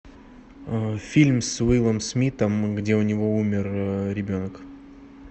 фильм с уиллом смитом где у него умер ребенок